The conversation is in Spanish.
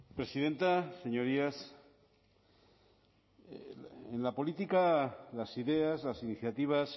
presidenta señorías en la política las ideas las iniciativas